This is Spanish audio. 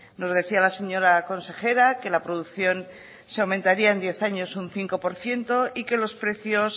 nos decía la señora consejera que la producción se aumentaría en diez años un cinco por ciento y que los precios